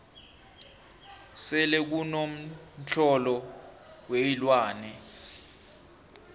selekuno mtlolo weenlwane